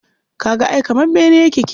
Ka ga ai kamar bene yake kenan.